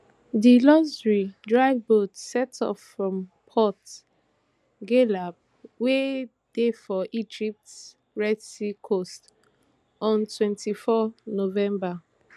di luxury dive boat set off from port ghaleb wey dey for egypt red sea coast on twenty-four november